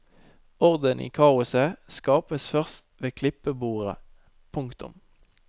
Orden i kaoset skapes først ved klippebordet. punktum